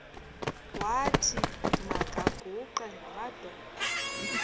wathi makaguqe ngamadolo